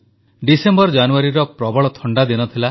December ଜାନୁଆରୀର ପ୍ରବଳ ଥଣ୍ଡାଦିନ ଥିଲା